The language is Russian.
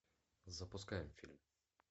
запускаем фильм